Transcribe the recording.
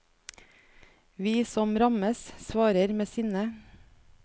Vi som rammes, svarer med sinne.